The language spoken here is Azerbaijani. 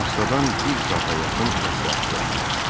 Astadan bir saata yaxın məsləhətləşdilər.